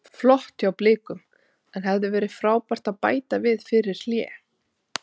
Flott hjá Blikum en hefði verið frábært að bæta við fyrir hlé.